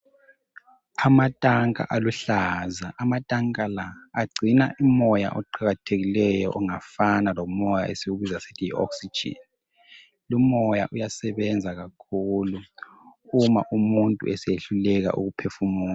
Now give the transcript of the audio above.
Amatanka aluhlaza, amatanka la agcina umoya oqakathelileyo ongafana lomoya esingawubiza sithi yi oxygen. Lomoya uyasebenza kakhulu uma umuntu esesehluleka ukuphefumula.